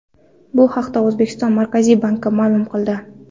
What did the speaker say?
Bu haqda O‘zbekiston Markaziy banki ma’lum qildi .